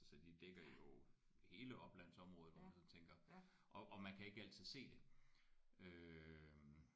Så de dækker jo hele oplandsområdet hvor man sådan tænker og og man kan ikke altid se det øh